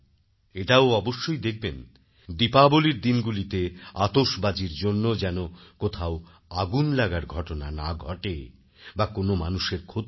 এটাও অবশ্যই দেখবেন দীপাবলীর দিনগুলোতেআতসবাজীর জন্য যেন কোথাও আগুন লাগার ঘটনা না ঘটে বা কোন মানুষের ক্ষতি না হয়